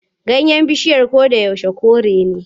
Ganyen bishiyar goro koyaushe kore ne.